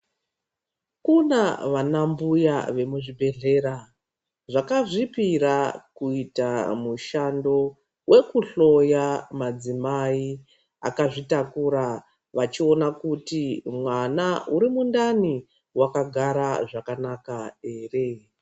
Kuna vana mbuya vemuzvibhedhlera, zvakazvipira kuita mushando, wekuhloya madzimai akazvitakura, vachiona kuti mwana uri mundani, wakagara zvakanaka ere.